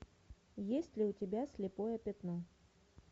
есть ли у тебя слепое пятно